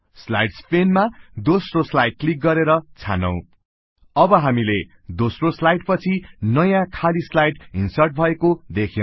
slides पेनमा दोस्रो slide click गरेर छानौ अब हामी इन्सर्ट र स्लाइड मा क्लिक गर्छौं we see that a new blank slide has been inserted after the second slide